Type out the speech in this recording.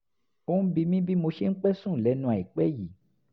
ó ń bi mí bí mo ṣe ń pẹ́ sùn lẹ́nu àìpẹ́ yìí